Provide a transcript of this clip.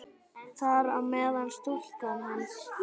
Þar á meðal stúlkan hans.